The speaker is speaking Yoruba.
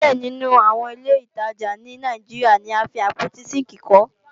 Díẹ̀ nínú àwọn ilé ìtajà ní Nàìjíríà ni a fi àpótí sínkìì kọ́